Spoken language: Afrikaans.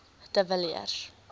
de villiers